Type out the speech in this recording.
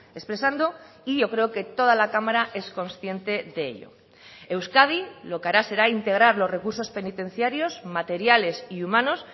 expresando y yo creo que toda la cámara es consciente de ello euskadi lo que hará será integrar los recursos penitenciarios materiales y humanos